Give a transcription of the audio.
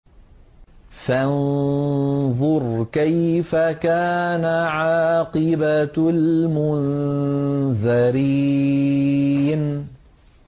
فَانظُرْ كَيْفَ كَانَ عَاقِبَةُ الْمُنذَرِينَ